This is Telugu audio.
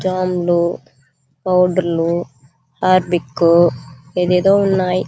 జాం లు పౌడర్ లు హార్పిక్ ఎది ఏదో ఉన్నాయి.